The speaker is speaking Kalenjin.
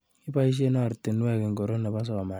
Ibaishe ortinwek ingoro nebo somanet.